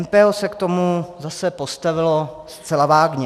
MPO se k tomu zase postavilo zcela vágně.